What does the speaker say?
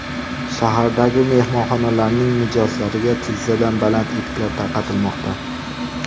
Shahardagi mehmonxonalarning mijozlariga tizzadan baland etiklar tarqatilmoqda.